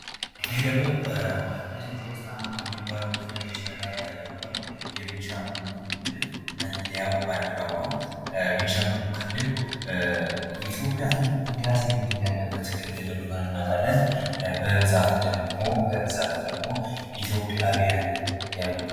ይሄ ደግሞ ኢትዮጵያ ዉስጥ አሉ ከሚባሉ ክልሎች መካከል የሆነዉ የቤኒሻንጉል ክልል መለያዉ ባንዲራዉ ነዉ። ቤኒሻንጉል ክልል የኢትዮጵያ ትልቁ ህዳሴ ግድብ ያለበት ክልል መሆኑን እናዉቃለን።